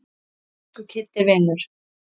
Elsku Kiddi vinur.